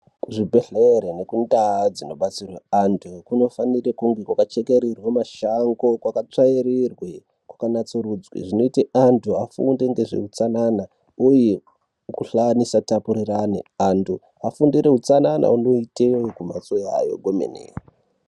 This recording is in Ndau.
Kuzvibhedhlera nekundau dzino batsirirwe anthu, kunofanira kunge kwaka chekererwa mashango, kwakatsvairirwe kwaka natsurudzwe, zvinoita anthu afunde ngezve utsanana uye mikhuhlana isa tapurirwana. Anthu afunde utsanana ondoitawo kumphatso kwawo kwemene.